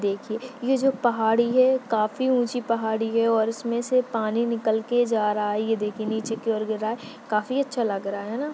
देखिए जो पहाड़ी है काफी ऊँची पहाड़ी है और उसमे से पानी निकल के जा रहा है ये देखिए नीचे की और गिर रहा है काफी अच्छा लग रहा है ना।